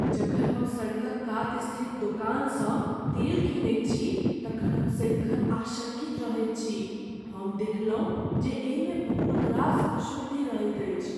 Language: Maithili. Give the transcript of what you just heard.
जखन हम सड़कक कात स्थित दोकानसँ तेल कीनैत छी तखन हम सदिखन आशंकित रहैत छी। हम देखलहुँ जे एहिमे बहुत रास अशुद्धि रहैत अछि।